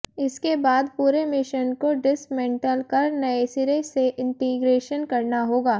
इसके बाद पूरे मिशन को डिस्मेंटल कर नए सिरे से इंटीग्रेशन करना होगा